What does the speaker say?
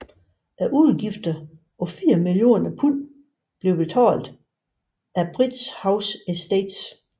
Udgifterne på fire millioner pund blev betalt af Bridge House Estates